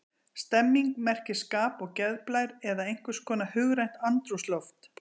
Stemning merkir skap, geðblær eða einhvers konar hugrænt andrúmsloft.